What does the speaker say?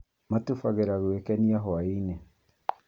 Matubagĩra gwĩkenia hwainĩ